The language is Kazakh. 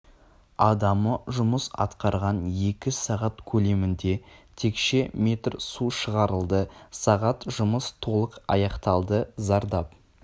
адамы жұмыс атқарған екі сағат көлемінде текше метр су шығарылды сағат жұмыс толық аяқталды зардап